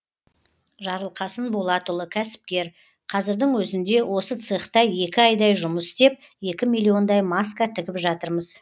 жарылқасын болатұлы кәсіпкер қазірдің өзінде осы цехта екі айдай жұмыс істеп екі миллиондай маска тігіп жатырмыз